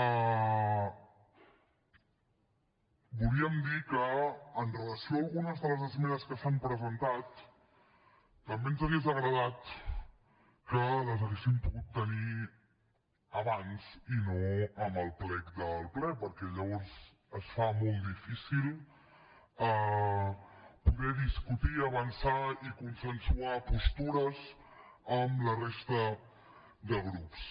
també volíem dir que amb relació a algunes de les esmenes que s’han presentat també ens hauria agradat que les haguéssim pogut tenir abans i no amb el plec del ple perquè llavors es fa molt difícil poder discutir avançar i consensuar postures amb la resta de grups